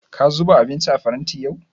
Ka zuba abinci a faranti yau?